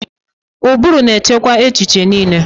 Ụbụrụ na-achịkwa echiche niile.